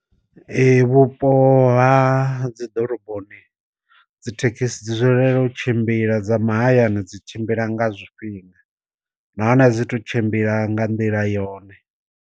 Ee vhupo ha dzi ḓoroboni dz ithekhisi dzi dzulela u tshimbila dza mahayani dzi tshimbila nga zwifhinga na hone a dzi tu tshimbila nga nḓila yone.